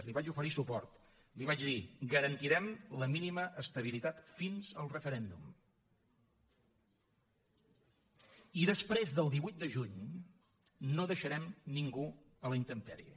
li vaig oferir suport li vaig dir garantirem la mínima estabilitat fins al referèndum i després del divuit de juny no deixarem ningú a la intempèrie